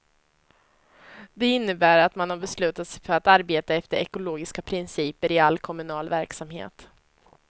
Det innebär att man har beslutat sig för att arbeta efter ekologiska principer i all kommunal verksamhet.